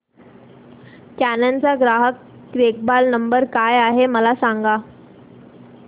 canon चा ग्राहक देखभाल नंबर काय आहे मला सांग